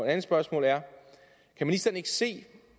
andet spørgsmål er kan ministeren ikke se